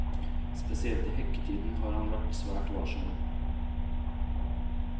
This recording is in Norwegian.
Spesielt i hekketiden har han vært svært varsom.